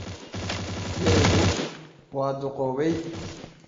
Dherigu waa duqoobay.